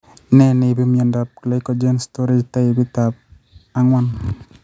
Nee neibu miondab glycogen storage taipit ab ang'wan